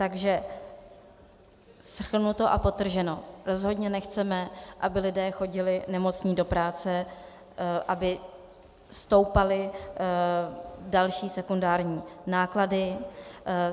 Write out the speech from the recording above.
Takže shrnuto a podtrženo, rozhodně nechceme, aby lidé chodili nemocní do práce, aby stoupaly další sekundární náklady.